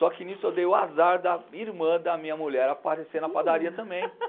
Só que nisso eu dei o azar da irmã da minha mulher aparecer na padaria também,